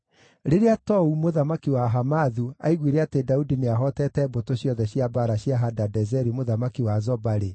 Rĩrĩa Tou, mũthamaki wa Hamathu, aiguire atĩ Daudi nĩahootete mbũtũ ciothe cia mbaara cia Hadadezeri mũthamaki wa Zoba-rĩ,